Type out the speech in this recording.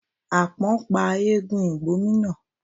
Àpọ́n pa eégún ìgbómínà.